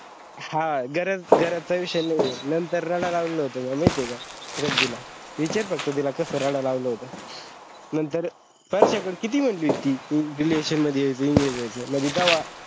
हा गरज गरज चा विषय नाहीये नंतर रडाला लावला होता महिती हे का श्राद्धीला विचार फक्त तिला कस रडला लावला होतो नंतर परश्या कड किती म्हणली होती ती relation मधी यायचा engeage व्हायचा म्हणजे तेव्हा